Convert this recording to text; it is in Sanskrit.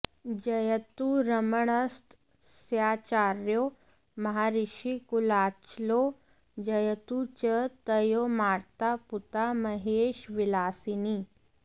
जयतु रमणस्तस्याचार्यो महर्षिकुलाचलो जयतु च तयोर्माता पूता महेशविलासिनी